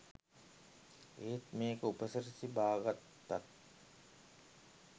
ඒත් මේකෙ උපසිරසි බාගත්තත්